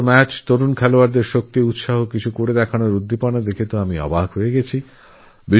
আমি যুবা খেলোয়াড়দের উৎসাহ স্ফূর্তি আর উদ্দীপনাদেখে বিস্মিত হয়ে গেছিলাম